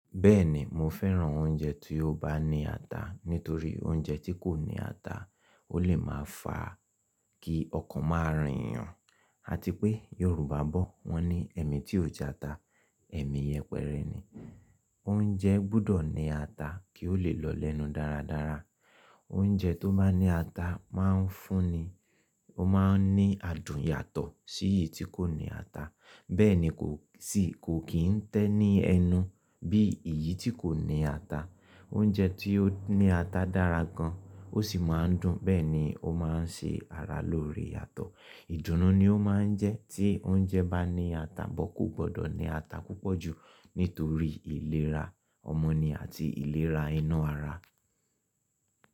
Bẹ́ẹ̀ni mo fẹ́ràn oúnjẹ tí ó bá ní ata, nítorí oúnjẹ tí kò ní ata ó lè máa fa kí ọkàn máa rìn yàn. Àti pé Yorùbá bọ̀ wọ́n ní “ẹ̀mì tí ò jẹ ata, ẹ̀mì yẹpẹrẹ ni.” Oúnjẹ gbọ́dọ̀ ní ata kí ó lè lọ lẹ́nu dáradára. Oúnjẹ tó má ní ata máa ń fúnni ní adùn yàtọ̀ sí èyí tí kò ní ata. Bẹ́ẹ̀ni kò kí n tẹ́ ní ẹnu bí èyí tí kò ní ata. Oúnjẹ tí ó ní ata dára gan, ó sì máa ń dùn, bẹ́ẹ̀ni ó máa ń ṣe ara lóore yàtọ̀. Ìdùnnú ni ó máa ń jẹ́ tí oúnjẹ bá ní ata, but kò gbọ́dọ̀ ní ata púpọ̀ jù nítorí ìlera ọmọnì àti ìlera inu ara.